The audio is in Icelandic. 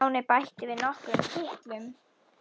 Stjáni bætti við nokkrum kitlum.